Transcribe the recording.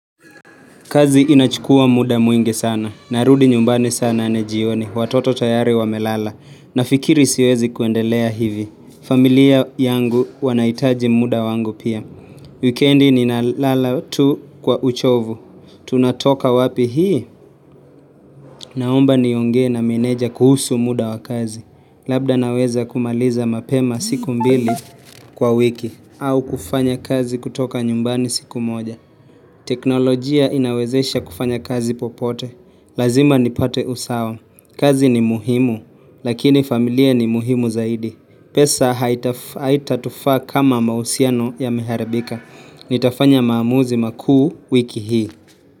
Kazi inachukua muda mwingi sana. Narudi nyumbani saa nane jioni. Watoto tayari wamelala. Nafikiri siwezi kuendelea hivi. Familia yangu wanaitaji muda wangu pia. Wikendi ninalala tu kwa uchovu. Tunatoka wapi hii. Naomba niongee na meneja kuhusu muda wa kazi. Labda naweza kumaliza mapema siku mbili kwa wiki. Au kufanya kazi kutoka nyumbani siku moja. Teknolojia inawezesha kufanya kazi popote Lazima nipate usawa kazi ni muhimu Lakini familia ni muhimu zaidi pesa haitatufaa kama mahusiano yameharibika Nitafanya maamuzi makuu wiki hii.